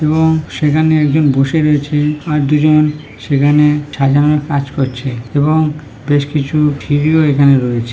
এবং সেখানে একজন বসে রয়েছে। আর দুজন সেখানে সাজানোর কাজ করছে এবং বেশ কিছু এখানে রয়েছে।